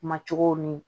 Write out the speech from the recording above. Ma cogow ni